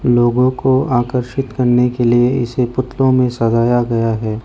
लोगों को आकर्षित करने के लिए इसे पुतलों में सजाया गया है।